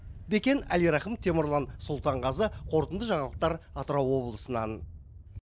бекен әлирахым темірлан сұлтанғазы қорытынды жаңалықтар атырау облысынан